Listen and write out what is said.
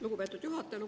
Lugupeetud juhataja!